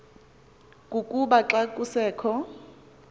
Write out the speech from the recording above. kukuba xa kusekho